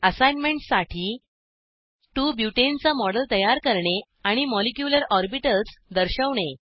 असाईनमेंटसाठी 2 बुटेने चा मॉडेल तयार करणे आणि मॉलिक्यूलर ऑर्बिटल्स दर्शवणे